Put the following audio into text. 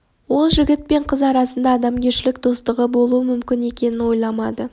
ол жігіт пен қыз арасында адамгершілік достығы болуы мүмкін екенін ойламады